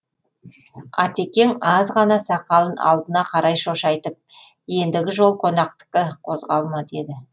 атекең аз ғана сақалын алдына қарай шошайтып ендігі жол қонақтікі қозғалма деді